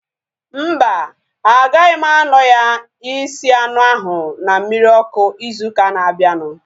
Mba, agaghị m anọ ya isi anụ ahu na mmiri ọkụ ịzụ ụka na abianu